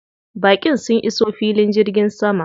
Baƙin sun iso filin jirgin sama.